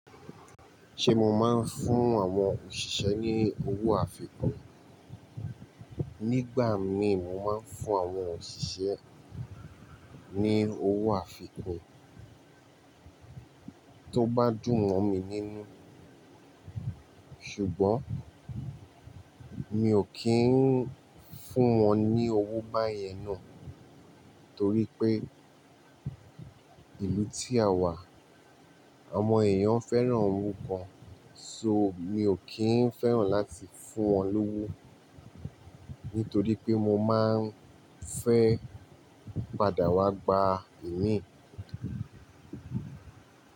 Ṣe mo máa n fún àwọn òṣìṣẹ́ ni owo àfikún? Nígbà mi mo máa n fún àwọn òṣìṣẹ́ ni owo àfikún, to ba dùn mọ mi ninu. Ṣùgbọ́n mi ò kí ń fún wọn ní owó báyẹn náà torí pé ìlú tí a wà, àwọn èèyàn fẹ́ràn orúkọ. So mi ò kí ń fẹ́ràn láti fún wọn lówó nítorí pé mo máa ń fẹ́ padà wá gba ìmí.